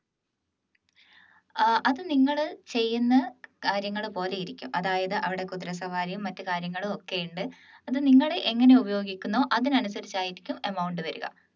ഏർ അത് നിങ്ങൾ ചെയ്യുന്ന കാര്യങ്ങൾ പോലെ ഇരിക്കും അതായത് അവിടെ കുതിരസവാരിയും മറ്റ് കാര്യങ്ങളൊക്കെ ഉണ്ട് അത് നിങ്ങൾ എങ്ങനെ ഉപയോഗിക്കുന്നോ അതിനനുസരിച്ച് ആയിരിക്കും amount വരുക